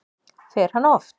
Fer hann oft?